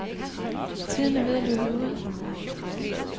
Tiden er ved at løbe ud.